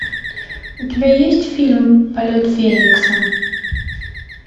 у тебя есть фильм полет феникса